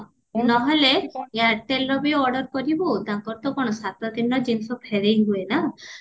ନହେଲେ ଏୟାରଟେଲବି order କରିବୁ ତାଙ୍କର ତ କଣ ସାତ ଦିନରେ ଜିନିଷ ଫେରେଇ ହୁଏ ନା